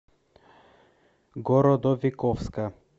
городовиковска